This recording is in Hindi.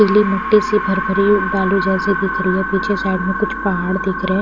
पीले मट्टे से भर-भरे बालू जैसे दिख रहीं हैं। पीछे साइड में कुछ पहाड़ दिख रहें--